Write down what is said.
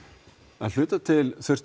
að hluta til þurfti